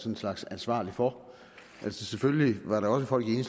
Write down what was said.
en slags ansvarlig for selvfølgelig var der også folk i